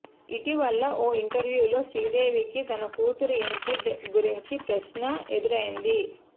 ఇటీవల ఓ ఇంటర్వ్యూలో శ్రీదేవికి తన కూతురు ఎంట్రీ గుంచిన ప్రశ్న ఎదురైంది